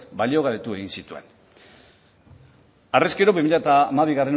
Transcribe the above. baliogabetu egin zituen horrez gero bi mila hamabigarrena